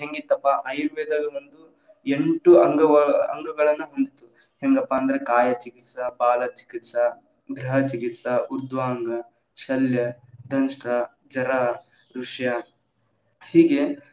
ಹೆಂಗಿತ್ತಪ್ಪಾ ಆಯುರ್ವೇದ ಒಂದು ಎಂಟು ಅಂಗ~ ಅಂಗಗಳನ್ನ ಹೊಂದಿತ್ತು, ಹೆಂಗಪ್ಪಾ ಅಂದ್ರ ಕಾಯ ಚಿಕಿತ್ಸಾ, ಬಾಲ ಚಿಕಿತ್ಸಾ, ಗ್ರಹ ಚಿಕಿತ್ಸಾ ಉರ್ದ್ವಾಂಗ, ಶಲ್ಯ, ದಂಷ್ಟ್ರ ಚರ, ವೃಶ್ಯ ಹೀಗೆ.